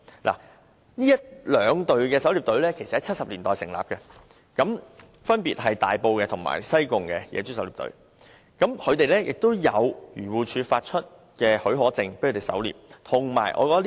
這兩支狩獵隊在1970年代成立，分別是大埔及西貢的野豬狩獵隊，他們持有漁農自然護理署發出的狩獵許可證。